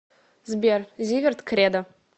сбер зиверт кредо